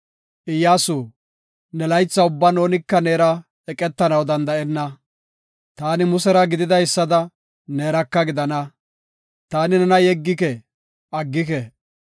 Iyyasu, ne laytha ubban oonika neera eqetanaw danda7ena. Taani Musera gididaysada, neeraka gidana. Taani nena yeggike; aggike.